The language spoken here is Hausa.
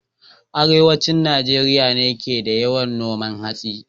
Arewacin Najeriya ne ke da yawan noman hatsi